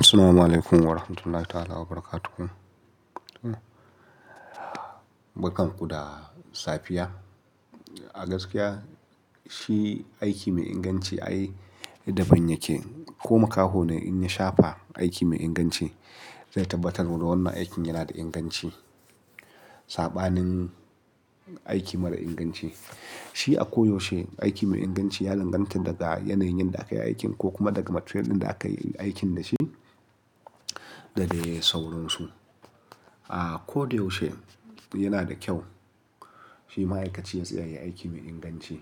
Assalamu alaikum warahmatullahi ta'ala wabarakatuh. Bar kan ku da safiya. A gaskiya shi aiki mai inganci ai daban yake ko makaho ne in shafe aiki mai inganci zai tabbatar da wannan aikin yana da inganci. Saɓanin aiki mara inganci shi a koyaushe aiki mai inganci ya lalacanta daga yanayin yanda aka yi aikin ko kuma daga material ɗin da aka yi aikin da shi da dai saurinsu. A ko da yaushe yana da kyau. Shi ma'aikaci ya tsaya ya yi aiki mai inganci.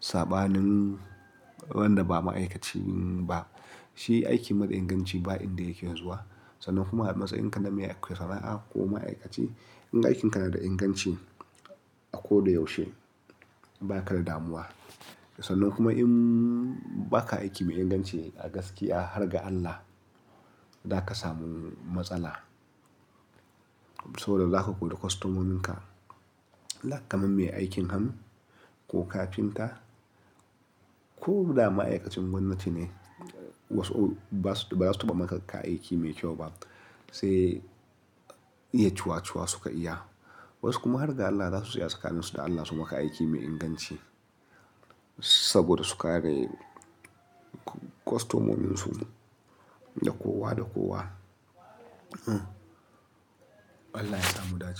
Saɓanin wanda ba ma'aikaci ba, shi aiki mara inganci ba inda yake zuwa. Sannan kuma a matsayin ka na mai sana'a ko ma'aikaci, in aikinka na da inganci a ko da yaushe ba ka da damuwa. Sannan kuma in ba ka aiki mai inganci a gaskiya har ga Allah, za ka samu matsala. Saboda za ka kori kwastomomin ka. Like kamar mai aikin hannu ko kafinta. Ko da ma'aikacin gwamnati ne, wasu basu ba za su taba maka ka yi aiki mai kyau ba sai iya cuwa-cuwa suka iya. Wasu kuma har ga Allah za su tsaya tsakanin su da Allah su maka aiki mai inganci. Saboda su kare kwastomomin su da kowa da kowa. Allah yasa mu dace.